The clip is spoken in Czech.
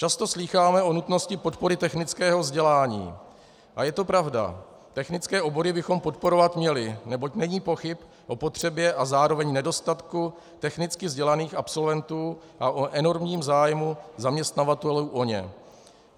Často slýcháme o nutnosti podpory technického vzdělání a je to pravda, technické obory bychom podporovat měli, neboť není pochyb o potřebě a zároveň nedostatku technicky vzdělaných absolventů a o enormním zájmu zaměstnavatelů o ně.